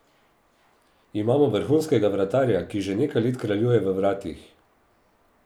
Imamo vrhunskega vratarja, ki že nekaj let kraljuje v vratih.